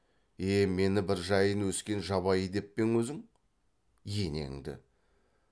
е мені бір жайын өскен жабайы деп пе ең өзің енеңді